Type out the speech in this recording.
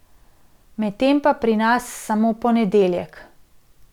Med tem pa pri nas samo ponedeljek.